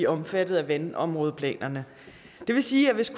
omfattet af vandområdeplanerne det vil sige at hvis